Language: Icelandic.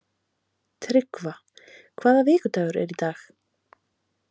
Tryggva, hvaða vikudagur er í dag?